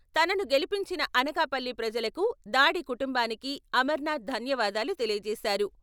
తనను గెలిపించిన అనకాపల్లి ప్రజలకు, దాడి కుటుంబానికి అమర్నాథ్ ధన్యవాదాలు తెలియచేశారు.